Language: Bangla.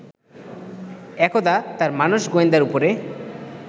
একদা তাঁর মানস-গোয়েন্দার উপরে